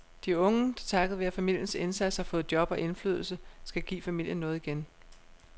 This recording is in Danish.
De unge, der takket være familiens indsats har fået job og indflydelse, skal give familien noget igen.